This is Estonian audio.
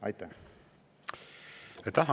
Aitäh!